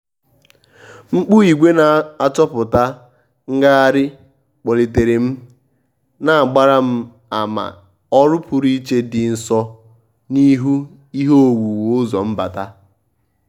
mkpu ìgwè n'achọpụta ngagharị kpọlitere m na-agbara m ama ọrụ pụrụ iche dị nso n'ihu ihe owuwu ụzọ mbata.